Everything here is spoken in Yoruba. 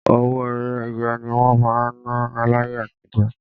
Owó ẹyọ ni wọ́n máa ń ná láyé àtijó.